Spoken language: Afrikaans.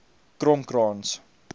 kromkrans